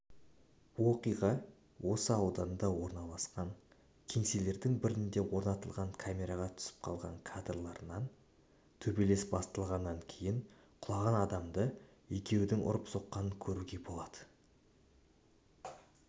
оқиға осы ауданда орналасқан кеңселерінің бірінде орнатылған камераға түсіп қалған кадрларынан төбелес басталғанын кейін құлаған адамды екеудің ұрып-соққанын көруге болады